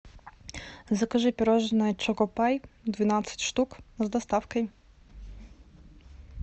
закажи пирожное чокопай двенадцать штук с доставкой